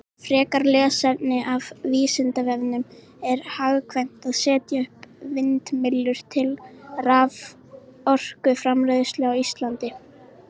Frekara lesefni af Vísindavefnum: Er hagkvæmt að setja upp vindmyllur til raforkuframleiðslu á Íslandi?